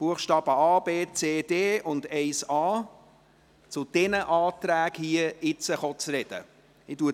Ich gebe zuerst den Antragstellern der Reihe nach das Wort.